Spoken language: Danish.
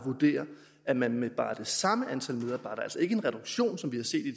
vurderer at man med bare det samme antal medarbejdere altså ikke med en reduktion som vi har set i